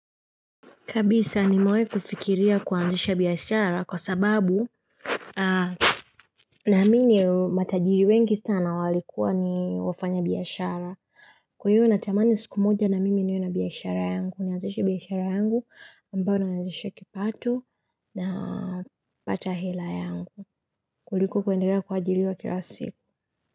Kabisa nimewai kufikiria kuanzisha biashara kwa sababu naamini matajiri wengi sana walikuwa ni wafanyabiashara. Kwa hiyo natamani siku moja na mimi niwe na biashara yangu. Naeandesha biashara yangu ambayo ndio andesha kipato na pata hela yangu. Kuliko kuendelea kuajiriwa kila siku.